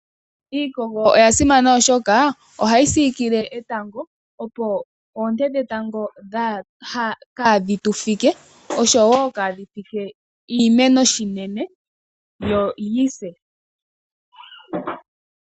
Iikogo oya simana oshoka, ohayi siikile etango, opo oonte dhetango kaadhi tu fike, oshowo kaadhi fike iimeno, yo yi se.